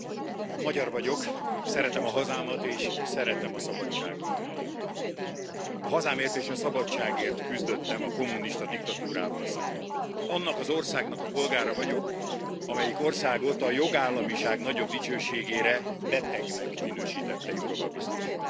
Tisztelt Elnök asszony! Magyar vagyok, szeretem a hazámat, és szeretem a szabadságot. A hazámért és a szabadságért küzdöttem a kommunista diktatúrával szemben. Annak az országnak a polgára vagyok, amelyik országot a jogállamiság nagyobb dicsőségére betegnek minősítette Jourová biztos.